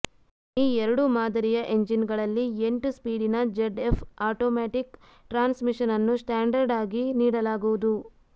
ಈ ಎರಡೂ ಮಾದರಿಯ ಎಂಜಿನ್ಗಳಲ್ಲಿ ಎಂಟು ಸ್ಪೀಡಿನ ಝಡ್ಎಫ್ ಆಟೋಮ್ಯಾಟಿಕ್ ಟ್ರಾನ್ಸ್ ಮಿಷನ್ ಅನ್ನು ಸ್ಟಾಂಡರ್ಡ್ ಆಗಿ ನೀಡಲಾಗುವುದು